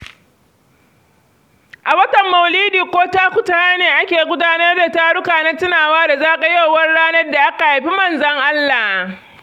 A watan mauludi ko takutaha ne ake gudanar da taruka na tunawa da zagayowar ranar da aka haifi Manzon Allah.